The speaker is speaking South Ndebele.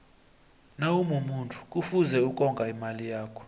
nawumumuntu kufuze ukonga imali yakho